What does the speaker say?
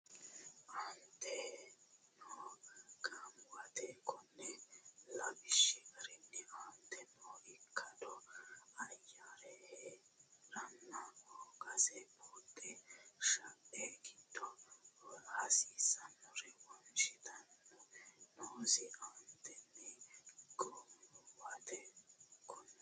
Anteteno goommuwate konni lawishshi garinni aantete noo ikkado ayyare hee ranna hoogase buuxa shae giddo hasiisannore wonshitinihu noosi Anteteno goommuwate konni.